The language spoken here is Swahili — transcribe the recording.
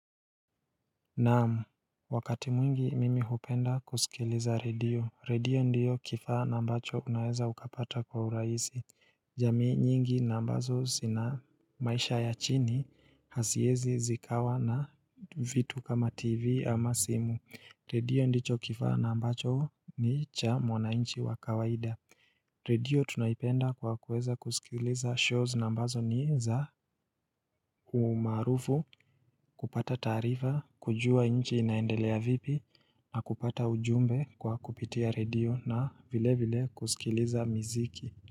Namu, wakati mwingi mimi hupenda kusikiliza redio. Redio ndio kifaa na ambacho unaweza ukapata kwa urahisi. Jamii nyingi na ambazo zina maisha ya chini haziwezi zikawa na vitu kama TV ama simu. Redio ndicho kifaa na mbacho ni cha mwananchi wa kawaida. Redio tunaipenda kwa kuweza kusikiliza shows na ambazo ni za umaarufu, kupata taarifa, kujuwa nchi inaendelea vipi, na kupata ujumbe kwa kupitia redio na vile vile kusikiliza miziki.